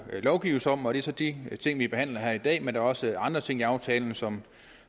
lovgives om og det er så de ting vi behandler her i dag men der er også andre ting i aftalen som